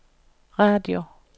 radio